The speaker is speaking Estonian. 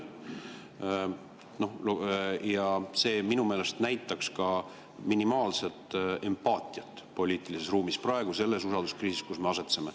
Aga see minu meelest näitaks minimaalsetki empaatiat poliitilises ruumis selles usalduskriisis, kus me praegu asetseme.